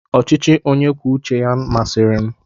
ọchịchị onye kwuo uche ya masịrị m.